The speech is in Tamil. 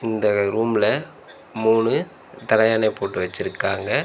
இந்த ரூம்ல மூணு தலையனை போட்டு வச்சிருக்காங்க.